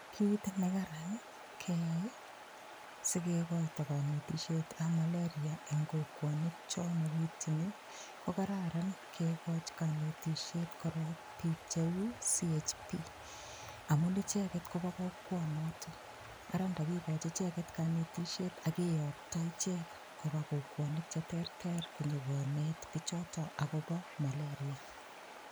Kiit nekaran keyai sikekoito kanetishetab malaria eng' kokwonik cho makiityini kokararan kekoch kanetishet korok biik cheu CHP amun icheget kobo kokwonoto ara ndakikoch icheget kanetishet akeyokto ichek koba kokwonik cheterter konyikonet bichoto akobo malaria